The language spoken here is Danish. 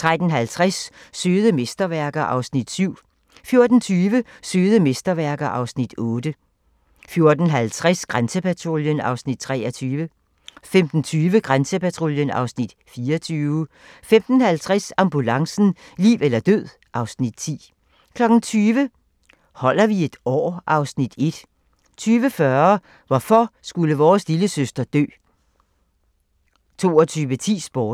13:50: Søde mesterværker (Afs. 7) 14:20: Søde mesterværker (Afs. 8) 14:50: Grænsepatruljen (Afs. 23) 15:20: Grænsepatruljen (Afs. 24) 15:50: Ambulancen - liv eller død (Afs. 10) 20:00: Holder vi et år? (Afs. 1) 20:40: Hvorfor skulle vores lillesøster dø? 22:10: Sporten